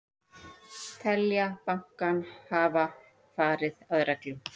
Telja bankann hafa farið að reglum